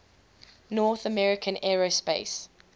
north american aerospace